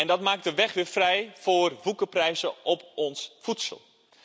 En dat maakt de weg weer vrij voor woekerprijzen op ons voedsel.